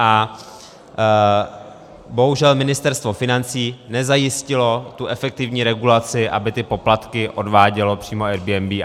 A bohužel Ministerstvo financí nezajistilo tu efektivní regulaci, aby ty poplatky odvádělo přímo Airbnb.